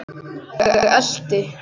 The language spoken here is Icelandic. Ég elti.